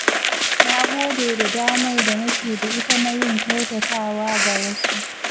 Na gode da damar da nake da ita na yin kyautatawa ga wasu.